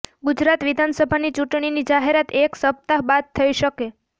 ગુજરાત વિધાનસભાની ચૂંટણીની જાહેરાત એક સપ્તાહ બાદ થઈ શકે